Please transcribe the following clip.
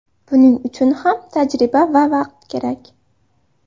Buning uchun ham tajriba va vaqt kerak.